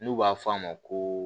N'u b'a fɔ a ma ko